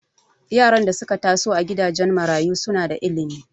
Yaran da suka taso a gidajen marayu suna da ilimi